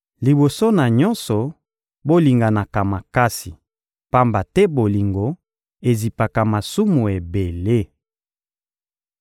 Liboso na nyonso, bolinganaka makasi, pamba te bolingo ezipaka masumu ebele.